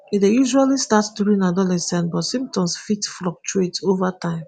e dey usually start during adolescence but symptoms fit fluctuate ova time.